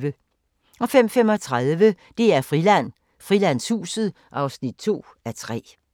05:35: DR-Friland: Frilandshuset (2:3)